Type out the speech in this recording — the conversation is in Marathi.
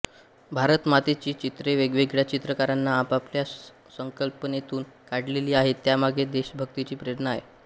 भारतमातेची चित्रे वेगवेगळ्या चित्रकारांनी आपापल्या संकल्पनेतून काढलेली आहेत त्यामागे देशभक्तीची प्रेरणा आहे